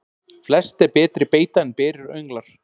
Flest er betri beita en berir önglar.